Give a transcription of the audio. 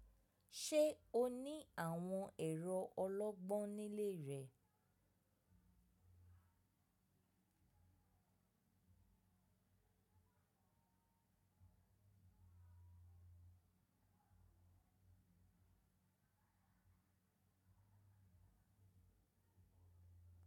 Ṣé o ní àwọn ẹ̀rọ ọlọ́gbọ́n nílé rẹ?